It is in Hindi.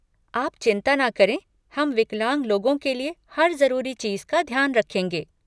आप चिंता ना करें, हम विकलांग लोगों के लिये हर ज़रूरी चीज़ का ध्यान रखेंगे।